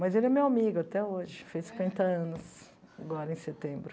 Mas ele é meu amigo até hoje, fez cinquenta anos agora em setembro.